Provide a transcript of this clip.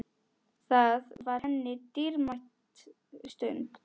Það var henni dýrmæt stund.